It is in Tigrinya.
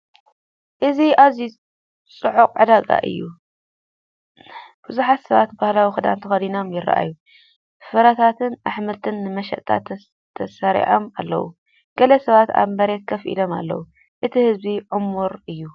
እዚ ኣዝዩ ጽዑቕ ዕዳጋ እዩ። ብዙሓት ሰባት ባህላዊ ክዳን ተኸዲኖም ይረኣዩ። ፍረታትን ኣሕምልትን ንመሸጣ ተሰሪዖም ኣለዉ። ገለ ሰባት ኣብ መሬት ኮፍ ኢሎም ኣለዉ። እቲ ህዝቢ ዕሙር እዩ።